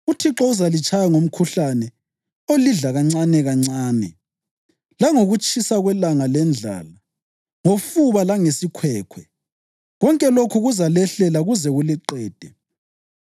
UThixo uzalitshaya ngomkhuhlane olidla kancanekancane, langokutshisa kwelanga lendlala, ngofuba langesikhwekhwe, konke lokhu kuzalehlela kuze kuliqede.